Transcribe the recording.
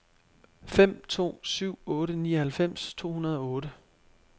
fem to syv otte nioghalvfems to hundrede og otte